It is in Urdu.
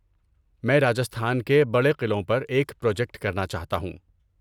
میں راجستھان کے بڑے قلعوں پر ایک پروجیکٹ کرنا چاہتا ہوں۔